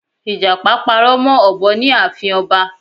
Ìjàpá parọ́ mọ́ òbọ ní ààfin ọba